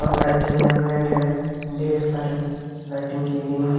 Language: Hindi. और लाइटिंग है मैट है ढेर सारे लाइटिंग की गई है।